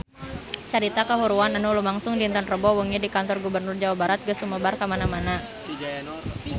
Carita kahuruan anu lumangsung dinten Rebo wengi di Kantor Gubernur Jawa Barat geus sumebar kamana-mana